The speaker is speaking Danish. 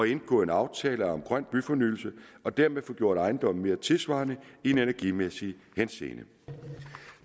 indgå aftale om grøn byfornyelse og dermed få gjort ejendommen mere tidssvarende i energimæssig henseende